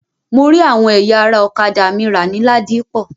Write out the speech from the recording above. Mo rí àwọn ẹ̀yà ara ọ̀kádà mi rà ní Ladipọ.